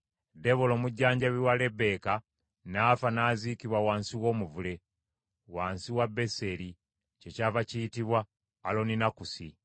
Debola omujjanjabi wa Lebbeeka n’afa n’aziikibwa wansi w’omuvule, wansi wa Beseri kyekyava kiyitibwa Alooninakusi.